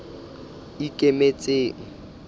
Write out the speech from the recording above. ikemetseng